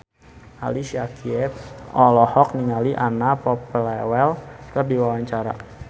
Ali Syakieb olohok ningali Anna Popplewell keur diwawancara